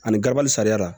Ani garabali sariya la